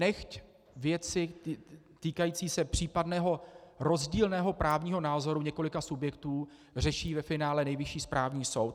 Nechť věci týkající se případného rozdílného právního názoru několika subjektů řeší ve finále Nejvyšší správní soud.